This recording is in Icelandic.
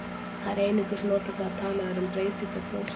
Það er einungis notað þegar talað er um breytingu á prósentu.